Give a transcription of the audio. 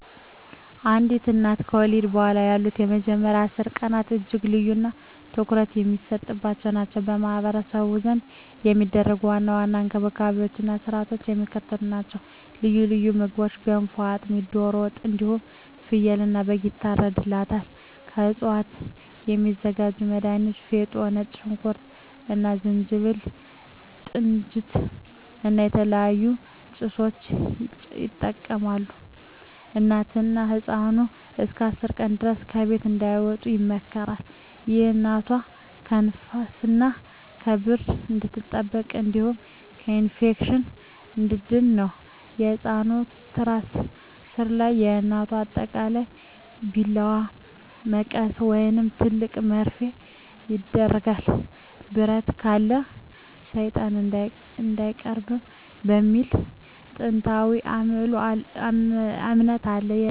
አንዲት እናት ከወለደች በኋላ ያሉት የመጀመሪያዎቹ 10 ቀናት እጅግ ልዩና ትኩረት የሚሰጥባቸው ናቸው። በማኅበረሰቡ ዘንድ የሚደረጉ ዋና ዋና እንክብካቤዎችና ሥርዓቶች የሚከተሉት ናቸው፦ ልዩ ልዩ ምግቦች ገንፎ፣ አጥሚት፣ ዶሮ ወጥ እንዲሁም ፍየልና በግ ይታርድላታል። ከእፅዋት የሚዘጋጁ መድሀኒቶች ፌጦ፣ ነጭ ሽንኩርት እና ዝንጅብል፣ ጥንጅት እና የተለያዩ ጭሶችን ይጠቀማሉ። እናትና ህፃኑ እስከ 10 ቀን ድረስ ከቤት እንዳይወጡ ይመከራል። ይህ እናቷ ከንፋስና ከብርድ እንድትጠበቅ እንዲሁም ከኢንፌክሽን እንድትድን ነው። ከህፃኑ ትራስ ሥር ወይም ከእናቷ አጠገብ ቢላዋ፣ መቀስ ወይም ትልቅ መርፌ ይደረጋል። "ብረት ካለ ሰይጣን አይቀርብም" የሚል ጥንታዊ እምነት አለ። በህፃኑ አንገት ወይም እጅ ላይ ጥቁር ክር ይታሰራል።